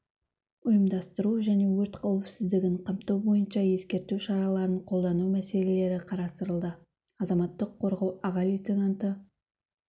ұйымдастыру және өрт қауіпсіздігін қамту бойынша ескерту шараларын қолдану мәселелері қарастырылды азаматтық қорғау аға лейтенанты